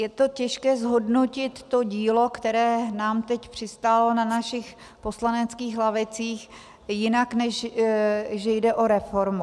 Je to těžké zhodnotit, to dílo, které nám teď přistálo na našich poslaneckých lavicích, jinak než že jde o reformu.